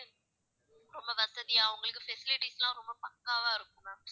ரொம்ப வசதியா உங்களுக்கு facilities லா ரொம்ப பக்காவா இருக்கும் ma'am.